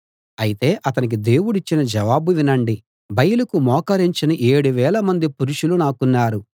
అయితే అతనికి దేవుడిచ్చిన జవాబు వినండి బయలుకు మోకరించని 7000 మంది పురుషులు నాకున్నారు